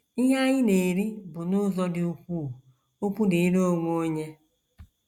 Ihe anyị na - eri bụ n’ụzọ dị ukwuu okwu dịịrị onwe onye.